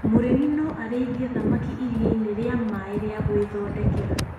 Mũrĩmi no arĩithie thamaki iria-inĩ rĩa maaĩ rĩa gũĩthondekera.